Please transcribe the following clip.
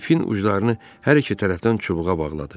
İpin uclarını hər iki tərəfdən çubuğa bağladı.